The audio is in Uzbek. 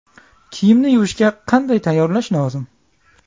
Kiyimni yuvishga qanday tayyorlash lozim?